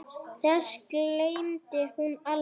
Þessu gleymdi hún aldrei.